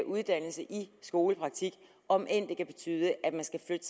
uddannelse i skolepraktik om end det kan betyde at man skal